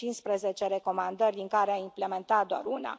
Sunt 15 recomandări, din care a implementat doar una.